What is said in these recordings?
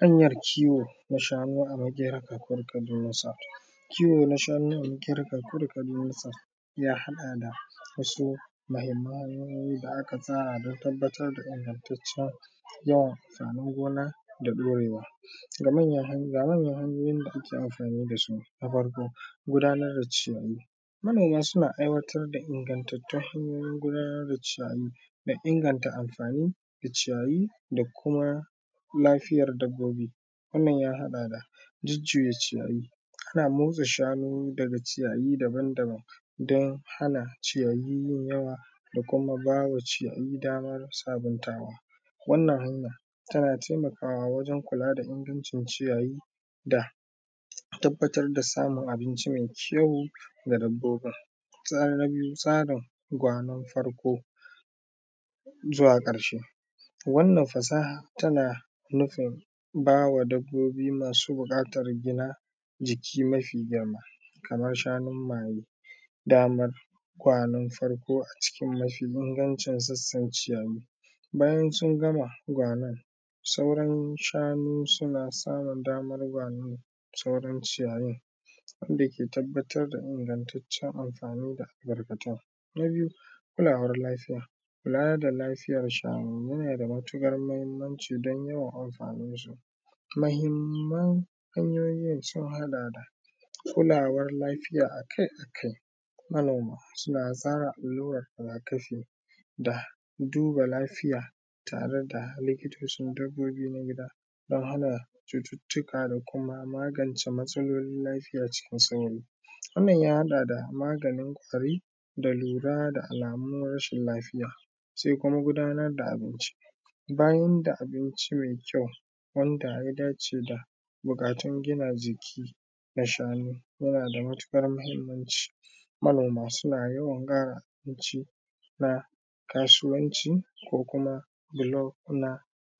Hanyan kiwo na shanu a Makera Kakuri Kaduna South, kiwo na shanu a Makera Kakuri Kaduna South ya haɗa da wasu muhimman hanyoyi da aka tsara don tabbatar da ingantacen gyara sannan gona da ɗorewa. Ga manyan hanyoyi da ake amfani da su, na farko gudanar da ciyayi manoma suna aiwatar da ingantattun hanyoyin gudanar da ciyayi da inganta amfanin da ciyayi da kuma lafiyar dabbobi wannan ya haɗa da jujjuya ciyayi ana murza shanu daga ciyayi daban-daban don hana ciyayi yin yawa da kuma bama ciyayi damar sabuntawa, wannan hanya tana taimakawa wajen kula da ingancin ciyayi da tabbatar da samun abinci mai kyau ga dabbobin, na biyu tsarin gwanan farko zuwa karshe, wannan fasaha tana nufin bawa dabbobi masu bukatar gina jiki mafi girma kamar shanun maye damar kwanan farko a cikin mafi ingancin sassan ciyayi, bayan sun gama gwanon sauran shanu suna samun damar gwanon sauran ciyayin inda ke tabbatar da ingantacen amfani da tarkacen, na biyu kulawar lafiya, kula da lafiyar shanu yana da matuƙar muhimmanci don yawan amfanin su, muhimman hanyoyin sun haɗa da kulawar lafiya akai-akai manoma suna zare allura rigakafi da duba lafiya tare da likitocin dabbobi na gida don hana cututtuka da kuma magance matsalolin lafiya cikin sauri, wannan ya haɗa da maganin ƙwari da lura da alamuwan rashin lafiya, sai kuma gudanar da abinci bayan da abinci mai kyau wanda ya dace da mukatun gina jiki na shanu yana da matukar muhimmanci manoma suna yawan kara abinci na kasuwanci ko kuma bulo na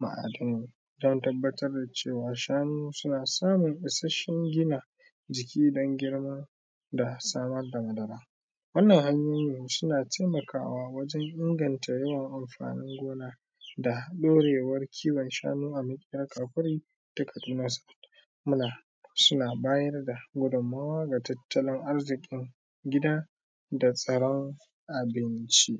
ma’adanai don tabbatar da cewa shanu suna samun isasshen gina jiki don girma da samar da madara, wannan hanyoyi suna taimakawa wajen inganta yawan amfanin gona da ɗorewar kiwon shanu a Makera Kakuri Kaduna South, suna bayar da gudunmawa ga tattalin arzikin gida da tsaron abinci.